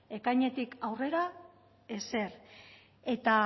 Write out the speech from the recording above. ekainetik aurrera ezer eta